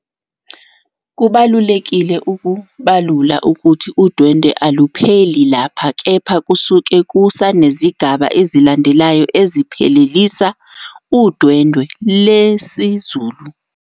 Kubalulekile ukubalula ukuthi udwendwe alupheli lapha kepha kusuke kusanezigaba ezilandelayo eziphelelisa udwendwe lesizulu.